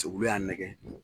y'an nɛgɛn